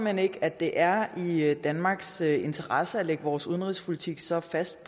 hen ikke at det er i danmarks interesse at lægge vores udenrigspolitik så fast